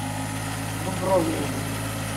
дубровиным